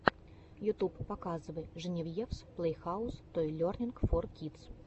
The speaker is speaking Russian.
ютуб показывай женевьевс плэйхаус той лернинг фор кидс